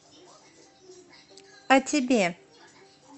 а тебе